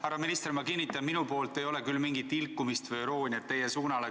Härra minister, ma kinnitan, et minu poolt ei tule küll mingit ilkumist või irooniat teie suunal.